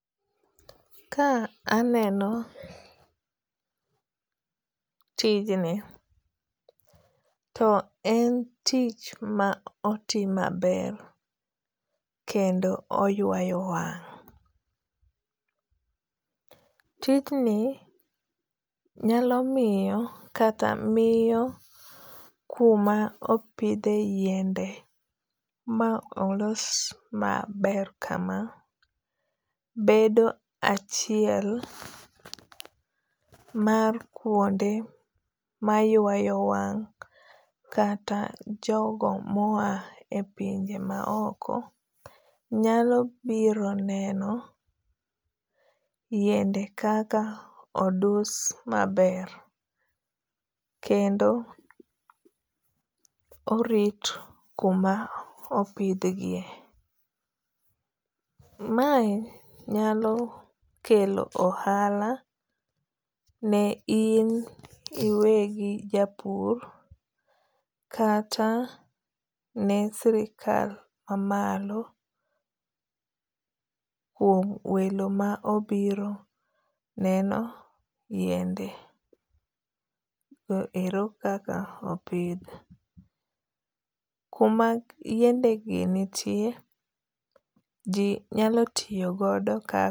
Ka aneno tijni to en tich ma otim maber. Kendo oywayo wang'. Tijni nyalo miyo kata miyo kuma opidhe yiende ma olos maber kama bedo achiel mar kuonde maywayo wang' kata jogo mo a epinje ma oko nyalo biro neno yiende kaka odus maber. Kendo orit kuma opidh gie. Mae nyalo kelo ohala ne in iwegi japur kata ne sirkal ma malo kuom welo ma obiro neno yiende go ero kaka opidh. Kuma yiende gi nitie ji nyalo tiyogodo.